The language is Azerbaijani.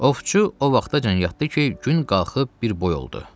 Ovçu o vaxtacan yatdı ki, gün qalxıb bir boy oldu.